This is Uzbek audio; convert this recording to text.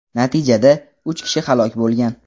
Natijada, uch kishi halok bo‘lgan.